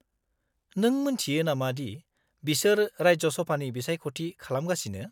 -नों मिन्थियो नामा दि बिसोर राज्यसभानि बिसायख'थि खालामगासिनो?